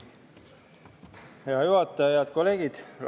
Hea juhataja!